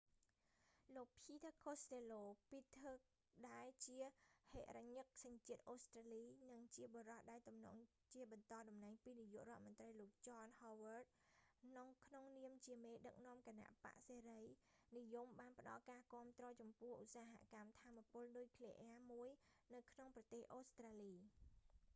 លោក peter costello ពីតធើរ កូស្តេឡូ ដែលជាហិរញ្ញិកសញ្ជាតិអូស្ត្រាលី និងជាបុរសដែលទំនងជាបន្តតំណែងពីនាយករដ្ឋមន្រ្តីលោក john howard ចន ហូវ័ឌ ក្នុងនាមជាមេដឹកនាំគណបក្សសេរីនិយមបានផ្តល់ការគាំទ្រចំពោះឧស្សាហកម្មថាមពលនុយក្លេអ៊ែរមួយនៅក្នុងប្រទេសអូស្ត្រាលី